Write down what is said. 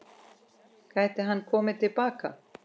Gæti hann komið til baka?